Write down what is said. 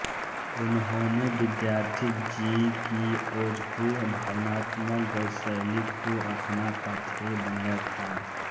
उन्होंने विद्यार्थीजी की ओजपूर्ण भावात्मक गद्यशैली को अपना पाथेय बनाया था